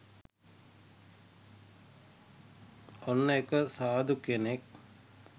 ඔන්න එක සාධු කෙනෙක්